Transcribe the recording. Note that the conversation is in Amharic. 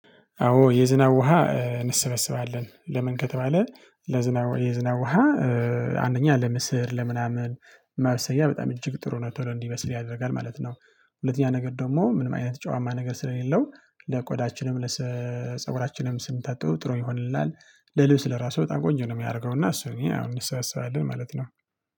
አዎ የዝናብ ውሃ እንሰበስባለን ለምን ከተባለ ለዝናብ የዝናው ውሃ አንደኛ ለምስር ለምናምን መብሰያ በጣም እጅግ ጥሩ ነው ቶሎ እንዲበስል ያደርጋል ማለት ነው። ሁለተኛ ነገር ደግሞ ምንም አይነት ጨዋማ ነገር ስለሌለው ለቆዳችንም ለፀጉራችንም ስንታጠበው ጥሩ ይሆንልናል። ለልብስ ለራሱ በጣም ቆንጆ ነው የሚያደርገው እና እሱን እንሰበስባለን ማለት ነው።